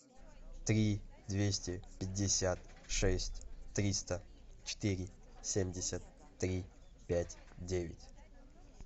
три двести пятьдесят шесть триста четыре семьдесят три пять девять